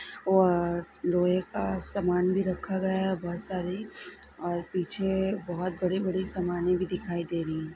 वो लोहे का सामान भी रखा गया है बहुत सारे और पीछे बहुत बड़ी बड़ी सामने भी दिखाई दे रही है।